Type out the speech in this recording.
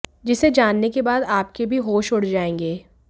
जिसे जानने के बाद आपके भी होश उड़ जाएंगे